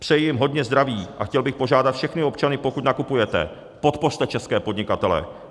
Přeji jim hodně zdraví a chtěl bych požádat všechny občany, pokud nakupujete, podpořte české podnikatele.